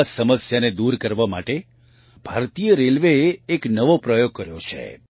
આ સમસ્યાને દૂર કરવા માટે ભારતીય રેલવેએ એક નવો પ્રયોગ કર્યો છે